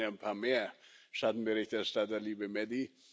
Wir waren ja ein paar mehr Schattenberichterstatter, liebe Mady.